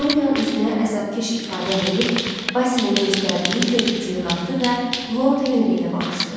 Doryan üzünə əzabkeş ifadə verib, Basilin göstərdiyi körpücüyə qalxdı və Lord Henri ilə baxışdı.